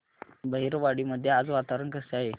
बहिरवाडी मध्ये आज वातावरण कसे आहे